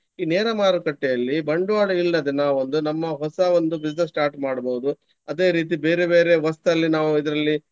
ಈ ನೇರ ಮಾರುಕಟ್ಟೆಯಲ್ಲಿ ಬಂಡ್ವಾಳವಿಲ್ಲದೆ ನಾವೊಂದು ನಮ್ಮ ಹೊಸ ಒಂದು business start ಮಾಡ್ಬಹುದು. ಅದೇ ರೀತಿ ಬೇರೆ ಬೇರೆ ವಸ್ತಲ್ಲಿ ನಾವು ಇದ್ರಲ್ಲಿ.